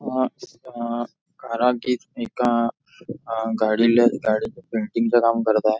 अ अ कारागीर एका आ गाडीला आ गाडीच्या पेंटिंग च काम करत आहे.